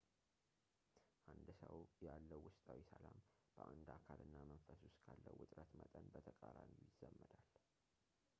አንድ ሰው ያለው ውስጣዊ ሰላም በአንድ አካል እና መንፈስ ውስጥ ካለው ውጥረት መጠን በተቃራኒው ይዛመዳል